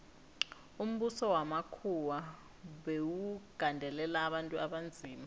umbuso wamakhuwa bewugandelela abantu abanzima